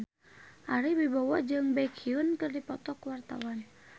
Ari Wibowo jeung Baekhyun keur dipoto ku wartawan